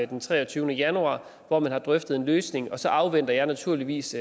den treogtyvende januar hvor man har drøftet en løsning og så afventer jeg naturligvis